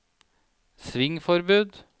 svingforbud